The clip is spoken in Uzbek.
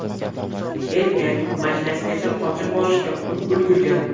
Erkak mashinasigacha qochib borishga ulgurgan.